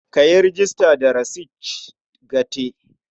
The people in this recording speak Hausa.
Ka yi rejista da Research Gate.